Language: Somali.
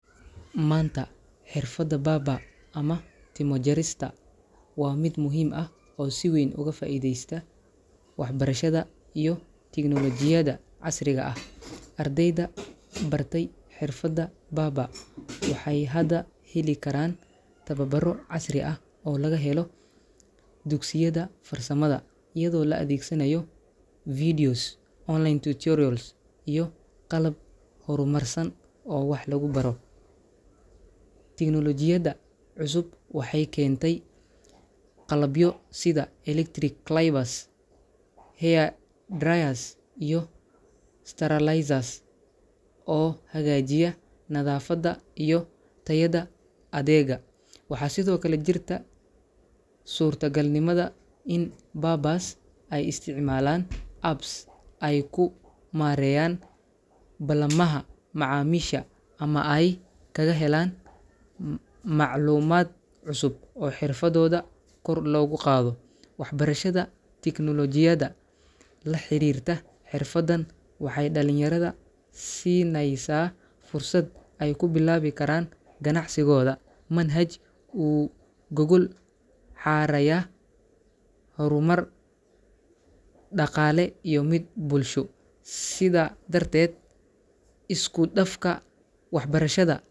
Maanta, xirfadda barber ama timo jarista waa mid muhiim ah oo si weyn uga faa’iideysta waxbarashada iyo tignoolajiyada casriga ah. Ardayda bartay xirfadda barber waxay hadda heli karaan tababaro casri ah oo laga helo dugsiyada farsamada, iyadoo la adeegsanayo videos, online tutorials, iyo qalab horumarsan oo wax lagu baro. Tignoolajiyada cusub waxay keentey qalabyo sida electric clippers, hair dryers, iyo sterilizers oo hagaajiya nadaafadda iyo tayada adeegga. Waxaa sidoo kale jirta suurtagalnimada in barbers ay isticmaalaan apps ay ku maareeyaan ballamaha macaamiisha ama ay kaga helaan macluumaad cusub oo xirfadooda kor loogu qaado. Waxbarashada teknoolojiyada la xiriirta xirfaddan waxay dhalinyarada siinaysaa fursad ay ku bilaabi karaan ganacsigooda manhaj u gogol xaaraya horumar dhaqaale iyo mid bulsho. Sidaa darteed, isku dafka waxbarashada